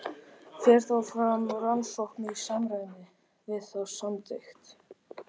Fer þá fram rannsókn í samræmi við þá samþykkt.